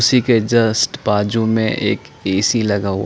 उसी के जस्ट बाजु में एक ए सी लगा हुआ --